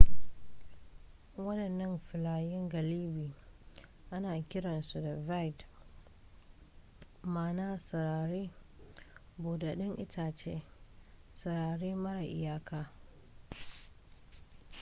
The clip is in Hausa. wadannan filayen galibi ana kiransu da vidde ma'ana sarari buɗaɗɗen itace sarari mara iyaka